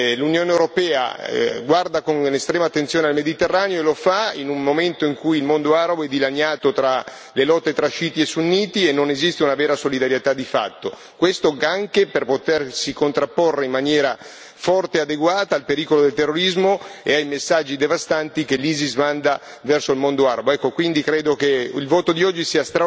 dare il messaggio che l'Unione europea guarda con estrema attenzione al Mediterraneo e lo fa in un momento in cui il mondo arabo è dilaniato per le lotte tra sciiti e sunniti e non esiste una vera solidarietà di fatto, questo anche per potersi contrapporre in maniera forte e adeguata al pericolo del terrorismo e ai messaggi devastanti che l'ISIS manda verso il mondo arabo.